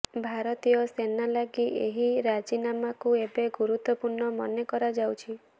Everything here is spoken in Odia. ଭାରତୀୟ ସେନା ଲାଗି ଏହି ରାଜିନାମାକୁ ଏବେ ଗୁରୁତ୍ୱପୂର୍ଣ୍ଣ ମନେ କରାଯାଉଛି